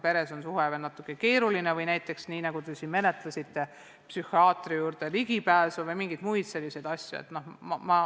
Sellised küsimused tekivad ka siis, kui peres on suhted keerulised või on vaja psühhiaatri juurde minna või mingeid muid nõuandeid saada.